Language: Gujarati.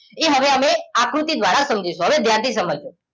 એ હવે હવે આકૃતિ દ્વારા સમજી શું હવે ધ્યાન થી સમજજો